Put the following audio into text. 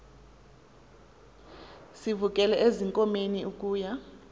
sivukele ezinkomeni ukuya